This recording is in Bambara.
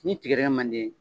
Ni tigadɛrɛ man di i ye